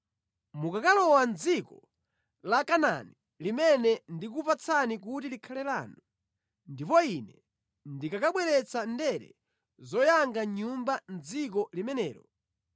Mukakalowa mʼdziko la Kanaani limene ndikukupatsani kuti likhale lanu, ndipo Ine ndikakabweretsa ndere zoyanga mʼnyumba mʼdziko limenelo,